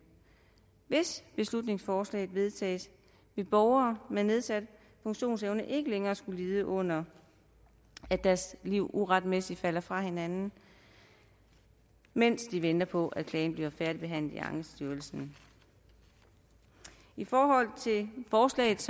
hvis beslutningsforslaget vedtages vil borgere med nedsat funktionsevne ikke længere skulle lide under at deres liv uretmæssigt falder fra hinanden mens de venter på at klagen færdigbehandles i ankestyrelsen i forhold til forslagets